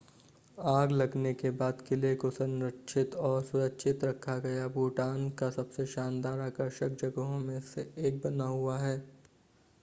आग लगने के बाद किले को संरक्षित और सुरक्षित रखा गया भूटान का सबसे शानदार आकर्षक जगहों में से एक बना हुआ है